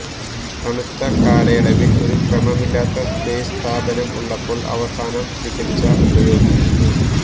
തണുത്ത കാലയളവിൽ ഒരു ക്രമമില്ലാത്ത സ്പേസ് താപനം ഉള്ളപ്പോൾ അവസാനം മികച്ച ഉപയോഗിക്കുന്നു